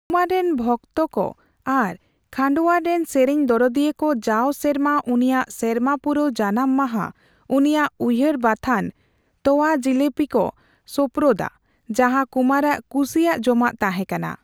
ᱠᱩᱢᱟᱨ ᱨᱮᱱ ᱵᱷᱚᱠᱛᱟ ᱠᱚ ᱟᱨ ᱠᱷᱟᱸᱰᱳᱣᱟᱨ ᱨᱮᱱ ᱥᱮᱨᱮᱧ ᱫᱚᱨᱚᱫᱤᱭᱟᱹ ᱠᱚ ᱡᱟᱣ ᱥᱮᱨᱢᱟ ᱩᱱᱤᱭᱟᱜ ᱥᱮᱨᱢᱟ ᱯᱩᱨᱟᱣ ᱡᱟᱱᱟᱢ ᱢᱟᱦᱟ ᱩᱱᱤᱭᱟᱜ ᱩᱭᱦᱟᱹᱨ ᱵᱟᱛᱷᱟᱱ ᱨᱮ ' ᱛᱚᱣᱟ ᱡᱤᱞᱟᱹᱯᱤ' ᱠᱚ ᱥᱳᱯᱨᱳᱫᱼᱟ, ᱡᱟᱸᱦᱟ ᱠᱩᱢᱟᱨᱼᱟᱜ ᱠᱩᱥᱤᱭᱟᱜ ᱡᱚᱢᱟᱜ ᱛᱟᱸᱦᱮ ᱠᱟᱱᱟ ᱾